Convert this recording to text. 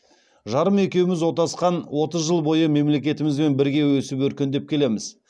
жарым екеуміз отасқан отыз жыл бойы мемлекетімізбен бірге өсіп өркендеп келеміз